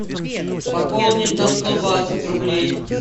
пополнить на сто двадцать рублей